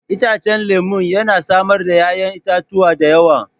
Itacen lemun yana samar da 'ya'yan itatuwa da yawa.